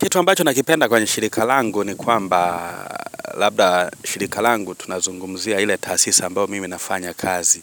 Kitu ambacho nakipenda kwenye shirika langu ni kwamba labda shirika langu tunazungumzia ile tasisa ambao mimi nafanya kazi.